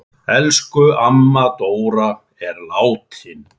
Elsku amma Dóra er látin.